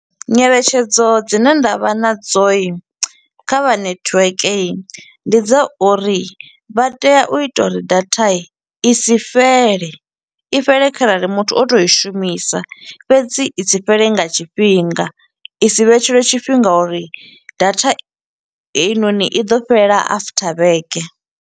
Nyeletshedzo dzine nda vha na dzo kha vha netiweke, ndi dza uri vha tea u ita uri data i si fhele. I fhele kharali muthu o to i shumisa, fhedzi i si fhele nga tshifhinga. I si vhetshelwe tshifhinga uri data heinoni, i ḓo fhela after vhege.